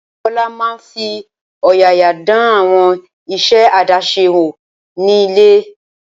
Oyindamola máa fi ọ̀yàyà dán àwọn iṣẹ́ àdáṣe wò ní ilé.